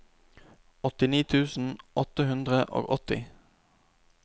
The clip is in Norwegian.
åttini tusen åtte hundre og åtti